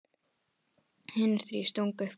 Hinir þrír stungu upp kóng.